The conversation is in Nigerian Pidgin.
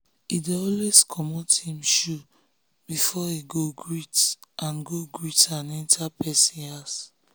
he dey always comot him shoe before he go greet and go greet and enter person house.